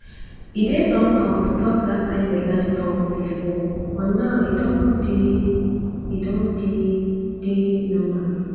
e dey somehow to talk that kind belle talk before but now e don now e don dey normal